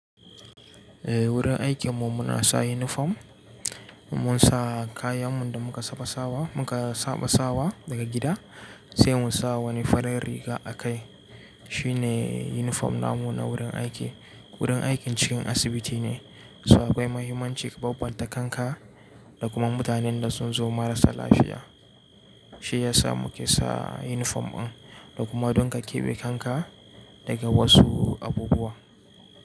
Eh, wurin aikinmu muna sa yunifom. Mun sa kayan mun da muka saɓa sawa, muka saɓa sawa daga gida sai mun sa wani farin riga a kai. Shine yunifom namu na wurin aiki. Wurin aikin cikin asibiti ne, so akwai muhimmanci ka bambanta kanka da kuma mutanen da sun zo marasa lafiya. Shi yasa muke sa yunifom ɗin da kuma don ka keɓe kanka daga wasu abubuwa.